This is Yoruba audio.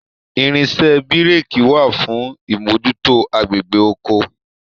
Irinṣẹ̀ bíi réékí wà fún imojuto agbègbè oko.